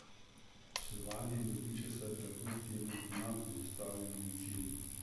Poslovanje in dobiček sta bila kljub temu nad zastavljenimi cilji.